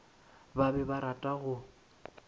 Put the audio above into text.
ba be ba rata go